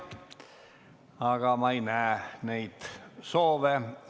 Aga ma ei näe neid soove.